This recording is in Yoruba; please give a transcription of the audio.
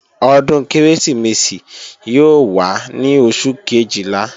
Ọdún Kérésìmesì yóò wá ní Oṣù Kejìlá